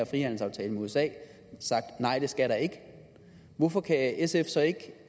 frihandelsaftalen med usa sagt nej det skal der ikke hvorfor kan sf så ikke